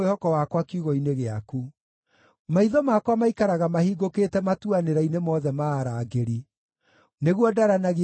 Maitho makwa maikaraga mahingũkĩte matuanĩra-inĩ mothe ma arangĩri, nĩguo ndaranagie ũhoro wa ciĩranĩro ciaku.